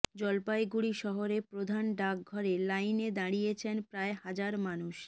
জলপাইগুড়ি শহরের প্রধান ডাকঘরে লাইনে দাঁড়িয়েছেন প্রায় হাজার মানুষ